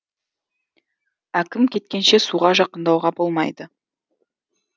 әкім кеткенше суға жақындауға болмайды